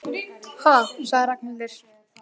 Ha sagði Ragnhildur.